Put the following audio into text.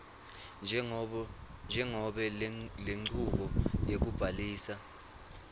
njengobe lenchubo yekubhalisa